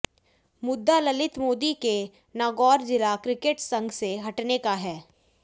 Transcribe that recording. मुद्दा ललित मोदी के नागौर जिला क्रिकेट संघ से हटने का है